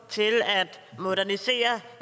til at modernisere